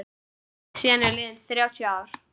Síðan eru liðin þrjátíu ár.